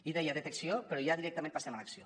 i deia detecció però ja directament passem a l’acció